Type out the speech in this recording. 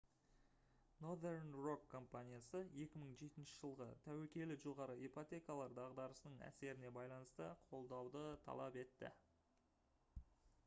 northern rock компаниясы 2007 жылғы тәуекелі жоғары ипотекалар дағдарысының әсеріне байланысты қолдауды талап етті